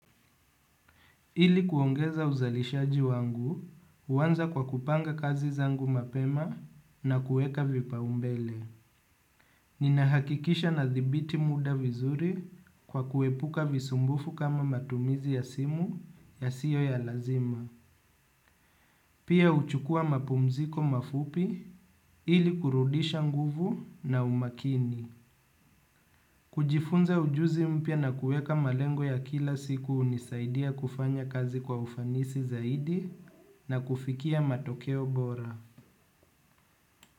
Ili kuongeza uzalishaji wangu, uanza kwa kupanga kazi zangu mapema na kueka vipaombele. Ninahakikisha nadhibiti muda vizuri kwa kuepuka visumbufu kama matumizi ya simu yasiyo ya lazima. Pia huchukua mapumziko mafupi ili kurudisha nguvu na umakini. Kujifunza ujuzi mpya na kueka malengo ya kila siku hunisaidia kufanya kazi kwa ufanisi zaidi na kufikia matokeo bora.